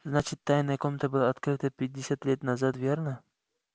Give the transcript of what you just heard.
значит тайная комната была открыта пятьдесят лет назад верно